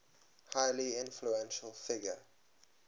highly influential figure